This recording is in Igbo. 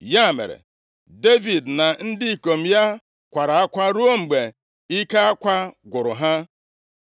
Ya mere, Devid na ndị ikom ya kwara akwa ruo mgbe ike akwa gwụrụ ha.